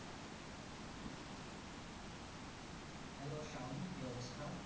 Hello Sayan কি অবস্থা?